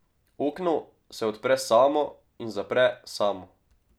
Okno se odpre samo in zapre samo.